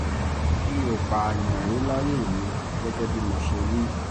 mi ò pààyàn rí láyé mi gẹ́gẹ́ bó ṣe wí